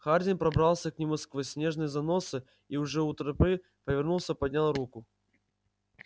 хардин пробрался к нему сквозь снежные заносы и уже у трапы повернулся и поднял руку